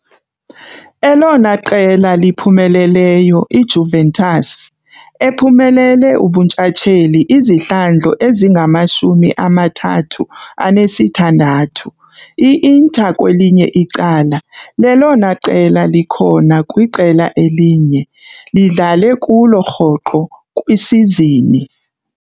Elona qela liphumeleleyo IJuventus, ephumelele ubuntshatsheli izihlandlo ezingamashumi amathathu anesithandathu, IInter kwelinye icala, lelona qela likhona kwiqela elinye, lidlale kulo rhoqo kwisizini.